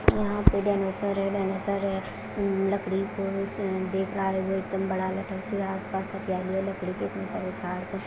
यहां पे जनरेटर है जनरेटर है लकड़ी को देख रह है वो एकदम बड़ा लटक रहा है आप पास लकड़ी के इतने सारे झाड़ है।